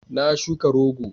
Na shuka rogo